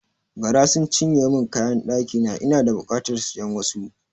Gara sun cinye mun kayan ɗakina, ina da bukatar siyan wasu.